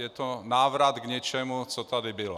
Je to návrat k něčemu, co tady bylo.